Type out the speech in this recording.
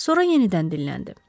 Sonra yenidən dinləndi.